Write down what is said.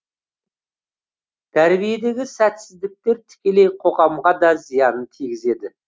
тәрбиедегі сәтсіздіктер тікелей қоғамға да зиянын тигізеді